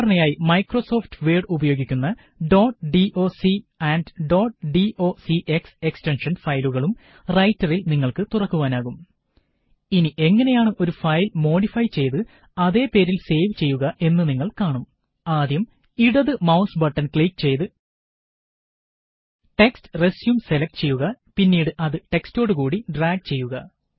സാധാരണയായി Microsoft Word ഉപയോഗിയ്ക്കുന്ന dot doc and dot docx extension ഫയലുകളും റൈറ്ററില് നിങ്ങള്ക്ക് തുറക്കുവാനാകും ഇനി എങ്ങനെയാണ് ഒരു ഫയല് മോഡിഫൈ ചെയ്ത് അതേ പേരില് സേവ് ചെയ്യുക എന്ന് നിങ്ങള് കാണും ആദ്യം ഇടത് മൌസ് ബട്ടണ് ക്ലിക്ക് ചെയ്ത് ടെക്സ്റ്റ് റെസ്യും സെലക്ട് ചെയ്യുക പിന്നീട് അത് ടെക്സ്റ്റോട് കൂടി ഡ്രാഗ് ചെയ്യുക